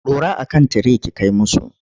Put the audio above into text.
Dora a kan tire ki kai musu!